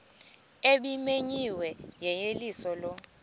ebimenyiwe yeyeliso lo